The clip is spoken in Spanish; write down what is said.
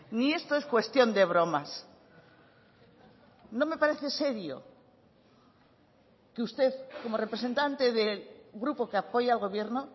ni esto es cuestión de bromas no me parece serio que usted como representante del grupo que apoya al gobierno